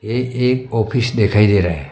ये एक ऑफिस देखाई दे रहा है।